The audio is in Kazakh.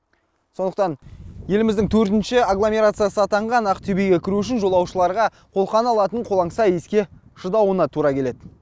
сондықтан еліміздің төртінші агломерациясы атанған ақтөбеге кіру үшін жолаушыларға қолқаны алатын қолаңса иіске шыдауына тура келеді